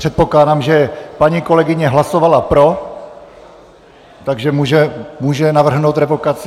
Předpokládám, že paní kolegyně hlasovala pro, takže může navrhnout revokaci.